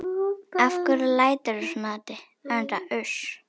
Af hverju læturðu svona Haddi?